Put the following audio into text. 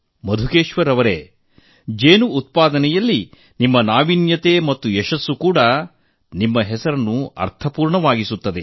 ಮಧುಕೇಶ್ವರ್ ಜಿ ಜೇನು ಕೃಷಿಯಲ್ಲಿ ನಿಮ್ಮ ನಾವೀನ್ಯ ಮತ್ತು ಯಶಸ್ಸು ಕೂಡ ನಿಮ್ಮ ಹೆಸರನ್ನು ಇನ್ನಷ್ಟು ಅರ್ಥಪೂರ್ಣವಾಗಿಸಿದೆ